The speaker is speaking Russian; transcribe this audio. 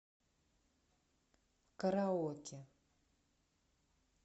караоке